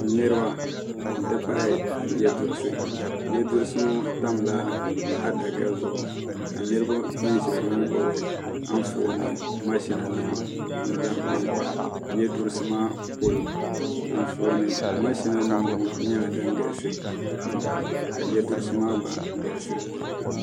Niriba n ti pahi yiɛduhirisi yiɛduhirisi ŋɔ tamila adaka zuɣu ka niriba bini ziya ŋɔ gbubi anfooni mashina nima n zaŋ kpa n kpa yiɛduhirisi maa polo anfooni mashina nima ŋɔ nyɛla dini galisi pam ka yiɛduhirisi maa gba galisi.